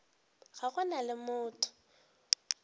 ga go na le motho